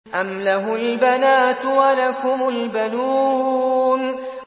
أَمْ لَهُ الْبَنَاتُ وَلَكُمُ الْبَنُونَ